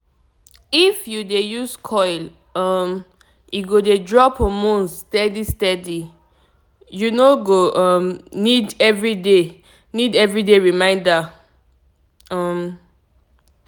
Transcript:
if you dey use coil um e go dey drop hormones steady steady -u no go um need everyday need everyday reminder pause small um